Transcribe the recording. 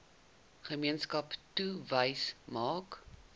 gemeenskap touwys maak